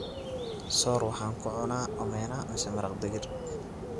soor waxaan kucunnaa omena mise maraq digir